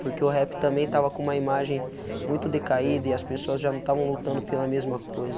Porque o rap também estava com uma imagem muito decaída e as pessoas já não estavam lutando pela mesma coisa.